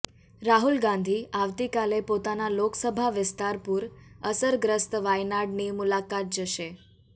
રાહુલ ગાંધી આવતીકાલે પોતાના લોકસભા વિસ્તાર પુર અસર ગ્રસ્ત વાયનાડની મુલાકાત જશે